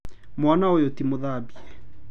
Mwana ũyũ ti mũthambie.